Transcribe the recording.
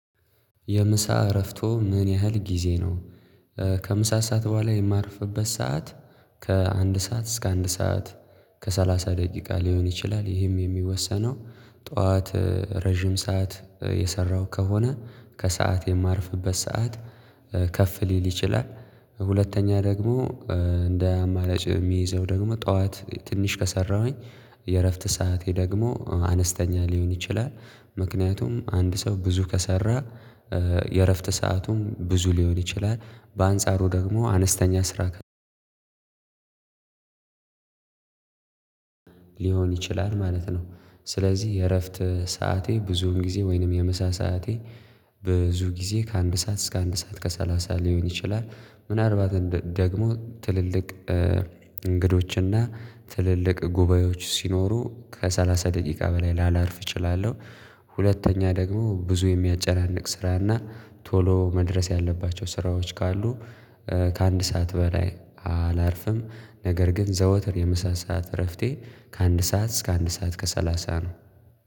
የምሳ እረፍቶ ምን ያህል ጊዜ ነው? ከምሳ ሰዓት በኋላ የማርፍበት ሰዓት ከአንድ ሰዓት እስከ አንድ ሰዓት ከሰላሳ ደቂቃ ሊሆን ይችላል ይህም የሚወሰነው ጠዋት ረጅም ሰዓት የሰራው ከሆነ ከሰአት የማርፍበት ሰዓት ከፍ ሊል ይችላል። ሁለተኛ ደግሞ እንደ አማራጭ የምይዘው ደግሞ ጠዋት ትንሽ ከሰራሁኝ የእረፍት ሰዓቴ ደግሞ አነስተኛ ሊሆን ይችላል ምክንያቱም አንድ ሰው ብዙ ከሰራ የእረፍት ሰአቱም ብዙ ሊሆን ይችላል በአንጻሩ ደግሞ አነስተኛ ስራ ሊሆን ይችላል ማለት ነው ስለዚህ የእረፍት ሰዓቴ ብዙውን ጊዜ ወይንም የምሳ ሰዓቴ ብዙ ጊዜ ከአንድ ሰዓት እስከ አንድ ሰዓት ከሰላሳ ሊሆን ይችላል ምናልባት ደግሞ ትልልቅ እንግዶችና ትልልቅ ጉባኤዎች ሲኖሩ ከሠላሳ ደቂቃ በላይ ላላርፍ እችላለሁ። ሁለተኛ ደግሞ ብዙ የሚያጨናንቅ ስራና ቶሎ መድረስ ያለባቸው ስራዎች ካሉ ከአንድ ሰዓት በላይ አላርፍም ነገር ግን ዘውትር የምሳ ሰዓት እረፍቴ ከአንድ ሰዓት እስከ አንድ ሰዓት ከሰላሳ ነው።